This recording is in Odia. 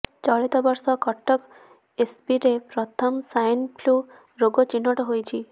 ଚଳିତବର୍ଷ କଟକ ଏସ୍ସିବିରେ ପ୍ରଥମ ସ୍ବାଇନ୍ ଫ୍ଲୁ ରୋଗୀ ଚିହ୍ନଟ ହୋଇଛି